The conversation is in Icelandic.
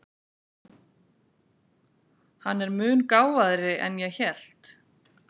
Hann er mun gáfaðri en ég hélt.